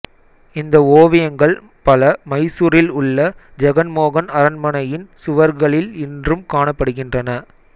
இந்த ஓவியங்கள் பல மைசூரில் உள்ள ஜெகன்மோகன் அரண்மனையின் சுவர்களில் இன்றும் காணப்படுகின்றன